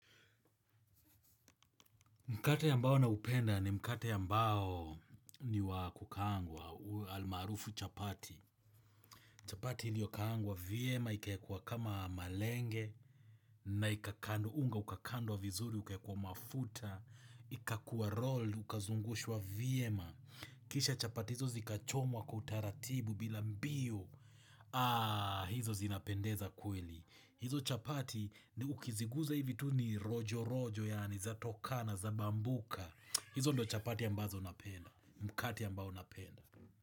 Mkate ambao naupenda ni mkate ambao ni wa kukaangwa, almaarufu chapati. Chapati iliyokaangwa, vyema ikawekwa kama malenge, na unga, ukakandwa vizuri, ukawekwa mafuta, ikakua roll, ukazungushwa vyema Kisha chapati hizo zikachomwa kwa utaratibu bila mbio, aaa, hizo zinapendeza kweli. Hizo chapati ni ukiziguza hivi tu ni rojo rojo ysani zatokana zabambuka hizo ndo chapati ambazo napenda Mkate ambao napenda.